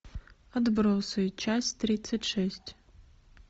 отбросы часть тридцать шесть